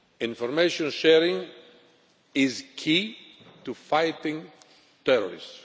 Information sharing is key to fighting terrorists.